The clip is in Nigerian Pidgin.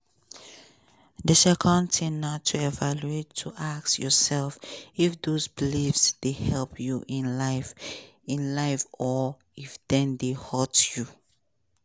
di second tin na to evaluate to ask yourself if those beliefs dey help you in life in life or if dem dey hurt you.